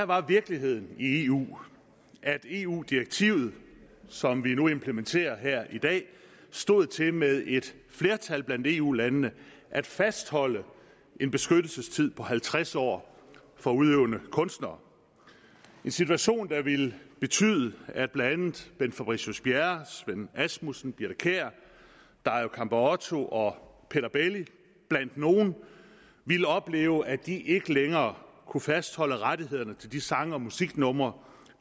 var virkeligheden i eu at eu direktivet som vi nu skal implementere stod til med et flertal blandt eu landene at fastholde en beskyttelsestid på halvtreds år for udøvende kunstnere en situation der ville betyde at blandt andet bent fabricius bjerre svend asmussen birthe kjær dario campeotto og peter belli ville opleve at de ikke længere kunne fastholde rettighederne til de sang og musiknumre